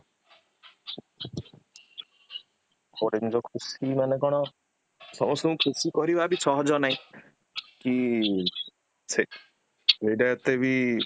ଗୋଟେ ଜିନିଷ ଖୁସି ମନେ କଣ ସମସ୍ତଙ୍କୁ ଖୁସି କୄଇବାବି ସହଜ ନାହିଁ କି, ସେ ଏଟା ଏତେ ବି